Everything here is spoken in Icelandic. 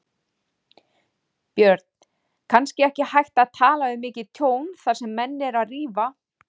Björn: Kannski ekki hægt að tala um mikið tjón þar sem menn eru að rífa?